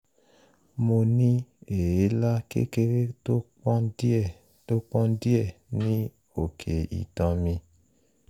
mo ní èélá kékeré tó pọ́n díẹ̀ tó pọ́n díẹ̀ ní òkè itan mi